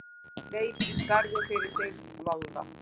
Hleyp í skarðið fyrir Sigvalda!